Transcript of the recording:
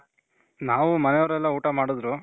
ನಾವು ಮನೆಯವ್ರು ಎಲ್ಲಾ ಊಟ ಮಾಡುದ್ರು